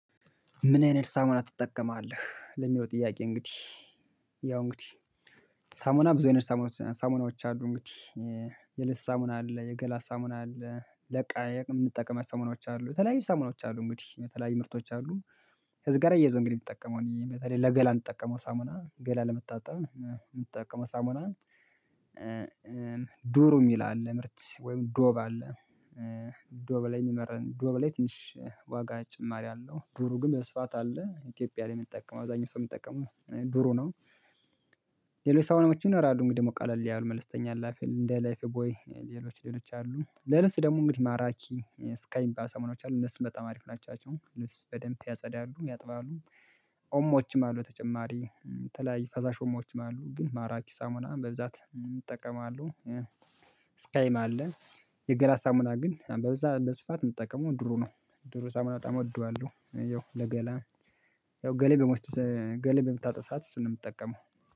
ምን አይነት ሳሙና ትጠቀማለህ? ለሚለው ጥያቄ እንግዲህ ያው እንግዲህ ሳሙና ብዙ አይነት ሳሙና ሳሙናዎች አሉ እንግዲህ የልብስ ሳሙና አለ የገላ ሳሙና አለ ለእቃ የምንጠቀማቸው ሳሙናዎች አሉ የተለያዩ ሳሙናዎች አሉ እንግዲህ የተለያዩ ምርቶች አሉ ከዚህ ጋር እያይዞ እንግዲህ የምጠቀመው እኔ በተለይ ለገላ የምጠቀመው ሳሙና ገላ ለመታጣብ የምጠቀመው ሳሙና። ዱሩ የሚል አለ ምርት ወይም ዶብ አለ። ዶብ ላይ የሚመረን ዶብ ላይ ትንሽ ዋጋ ተጨማሪ አለው ዱሩ ግን መስፋት አለ ኢትዮጵያ ላይ የሚጠቀመው አብዛኛው ሰው የሚጠቀመው ዱሩ ነው። ሌላው የሳሙናዎችም ይኖራሉ እንግዲህ ደግሞ ቃለል ያሉ ያው መልስተኛ ላፌ እንደ ላይፍ ቦይ ሌሎች ሌሎች አሉ ለልብስ ደግሞ እንግዲህ ማራኪ ስካይ የሚባሉ ሳሙናዎች አሉ እነሱን በጣም አሪፍ ናቸው ልብስ በደንብ ያጸዳሉ ያጥባሉ። ኦሞዎችም አሉ ተጨማሪ የተለያይ ፈሳሽ ኦሞዎችም አሉ ግን ማራኪ ሳሙና በብዛት እጠቀማለሁ። ስካይም አለን የገላ ሳሙና ግን በብዛት በስፋት የምጠቀመው ዱሩ ነው ዱሩ ሳሙና በጣም እወደዋለሁ። ያው ለገላ ያው ገላዬን በመውሰድ ገላዬን በምታጠብ ሰዓት እሱን ነው የምጠቀመው